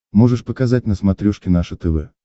можешь показать на смотрешке наше тв